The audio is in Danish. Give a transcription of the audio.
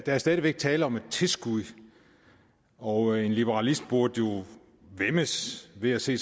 er stadig væk tale om et tilskud og en liberalist burde jo væmmes ved at se